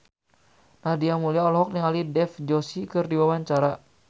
Nadia Mulya olohok ningali Dev Joshi keur diwawancara